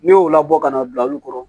Ne y'o labɔ ka na bila olu kɔrɔ